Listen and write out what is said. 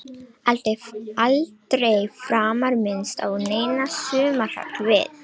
Aldrei framar minnst á neina sumarhöll við